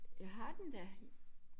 Ja har den da